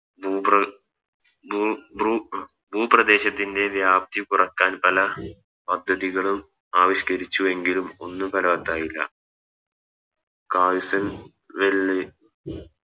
ഭൂ പ്ര ഭൂ ഭ്രു ഭൂപ്രദേശത്തിൻറെ വ്യാപ്തി കുറക്കാൻ പല പദ്ധതികളും ആവിഷ്ക്കരിച്ചു എങ്കിലും ഒന്നും ഫലവത്തായില്ല കാഴ്സ്ൺ വെല്ലെ